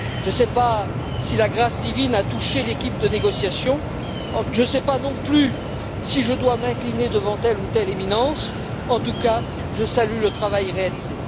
Je ne sais pas si la grâce divine a touché l'équipe de négociation, je ne sais pas non plus si je dois m'incliner devant telle ou telle éminence, en tout cas je salue le travail réalisé.